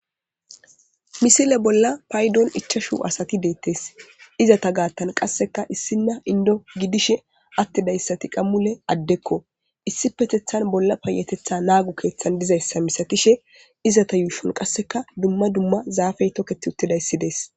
Misile bolla paydon ichashu asati deettes izata gaattan qasseka issinna indo gidishe attidayssati qammule addekko issi petethan bolla payatetha naagu keeththan dizayssa misakishe izata yuushon qasseka dumma dumma zaafey tokketi uttidayssidees.